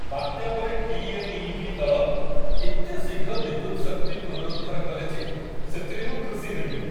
ବାତ୍ୟା ପରେ ଟି.ଏନ୍.ଇ.ବି. ଦଳ ଏତେ ଶୀଘ୍ର ବିଦ୍ୟୁତ ଶକ୍ତି ପୁନରୁଦ୍ଧାର କଲେ ଯେ, ସେଥିରେ ମୁଁ ଖୁସି ହୋଇଗଲି।